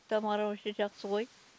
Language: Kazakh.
тамара вообще жақсы ғой